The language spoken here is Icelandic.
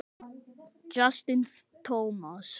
Justin Thomas.